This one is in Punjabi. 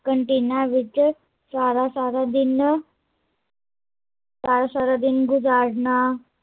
ਕਨਟੀਨਾ ਵਿੱਚ ਸਾਰਾ ਸਾਰਾ ਦਿਨ ਸਾਰਾ ਸਾਰਾ ਦਿਨ ਗੁਜ਼ਾਰਨਾ